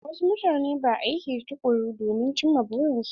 Wasu mutane ba aiki tukuru domin ci ma burin su.